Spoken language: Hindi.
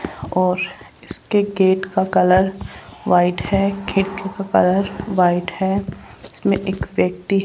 और इसके गेट का कलर व्हाइट है खिड़की का कलर व्हाइट है इसमें एक व्यक्ति --